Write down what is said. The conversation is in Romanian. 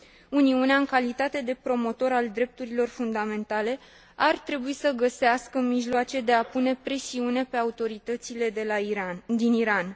Uniunea, în calitate de promotor al drepturilor fundamentale, ar trebui să găsească mijloace de a pune presiune pe autoritățile din Iran.